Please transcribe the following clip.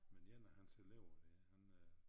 Men en af hans elever der han øh